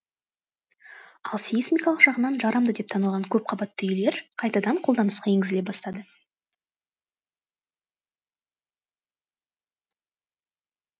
ал сейсмикалық жағынан жарамды деп танылған көпқабатты үйлер қайтадан қолданысқа енгізіле бастады